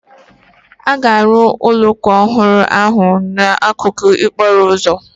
A ga-arụ ụlọ ụka ọhụrụ ahụ n'akụkụ okporo ụzọ.